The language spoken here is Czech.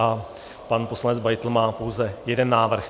A pan poslanec Beitl má pouze jeden návrh.